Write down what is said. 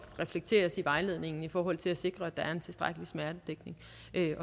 reflekteres i vejledningen i forhold til at sikre at der er en tilstrækkelig smertedækning